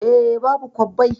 Eh, babu kwabbai